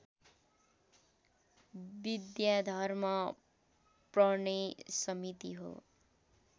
विद्याधर्म प्रने समिति हो